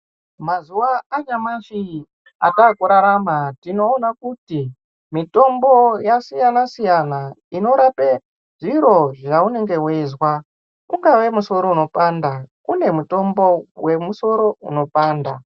Mazuwa anyamashi ataakurarama, tinoona kuti mitombo yasiyana-siyana, inorape zviro zvaunenge weizwa. Ungave musoro unonga weipanda ,kune mutombo wemusoro unopanda.